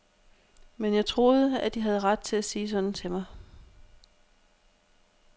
Men jeg troede, at de havde ret til at sige sådan til mig.